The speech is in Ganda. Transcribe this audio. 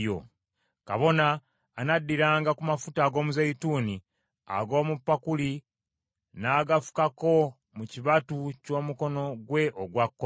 Kabona anaddiranga ku mafuta ag’omuzeeyituuni ag’omu pakuli n’agafukako mu kibatu ky’omukono gwe ogwa kkono,